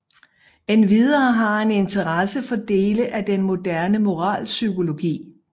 Endvidere har han interesse for dele af den moderne moralpsykologi